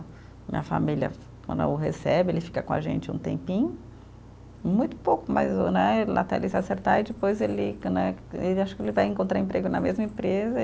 Minha família, quando o recebe, ele fica com a gente um tempinho, muito pouco, mas o né, lá até ele se acertar, e depois ele que né, ele eu acho que ele vai encontrar emprego na mesma empresa